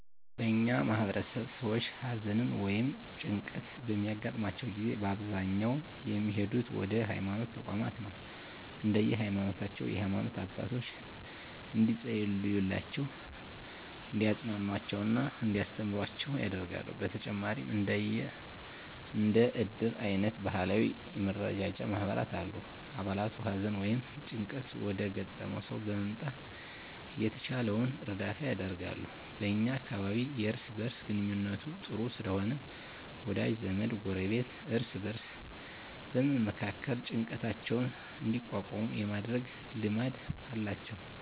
በእኛ ማህበረሰብ ሰዎች ሀዘን ወ ይም ጭንቀት በሚያገጥማቸው ጊዜ በአብዛኛው የሚሄዱት ወደ ሀይማኖት ተቋማት ነው። እንደየ ሀይማኖታቸው የሃይማኖት አባቶች እንዲፀልዩላቸው፣ እንዲያፅናኑአቸው እና እንዲያስተምሩአቸው ያደርጋሉ። በተጨማሪም እንደ እድር አይነት ባህላዊ የመረዳጃ ማህበራት አሉ። አባላቱ ሀዘን ወይም ጭንቀት ወዳጋጠመው ሰው በመምጣት የተቻላቸውን እርዳታ ያደርጋሉ። በ እኛ አካባቢ የእርስ በእርስ ግንኙነቱ ጥሩ ስለሆነ ወዳጅ ዘመድ፣ ጎረቤት እርስ በእርስ በመመካከር ጭንቀታቸውን እንዲቋቋሙ የማድረግ ልማድ አላቸው።